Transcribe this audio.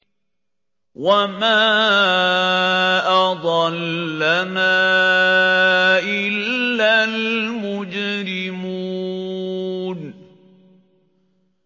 وَمَا أَضَلَّنَا إِلَّا الْمُجْرِمُونَ